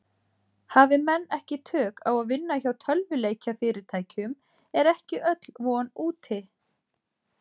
Hafi menn ekki tök á að vinna hjá tölvuleikjafyrirtækjum er ekki öll von úti.